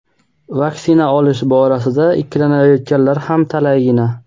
vaksina olish borasida ikkilanayotganlar ham talaygina.